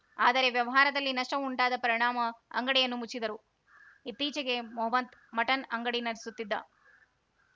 ಆದರೆ ವ್ಯವಹಾರದಲ್ಲಿ ನಷ್ಟಉಂಟಾದ ಪರಿಣಾಮ ಅಂಗಡಿಯನ್ನು ಮುಚ್ಚಿದ್ದರು ಇತ್ತೀಚೆಗೆ ಮೊಹಮದ್‌ ಮಟನ್‌ ಅಂಗಡಿ ನಡೆಸುತ್ತಿದ್ದ